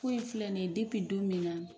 Foyi in filɛ nin ye bepi don min na